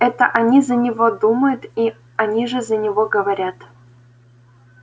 это они за него думают и они же за него говорят